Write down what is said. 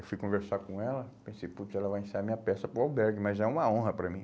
Eu fui conversar com ela, pensei, putz, ela vai ensaiar minha peça para o albergue, mas é uma honra para mim.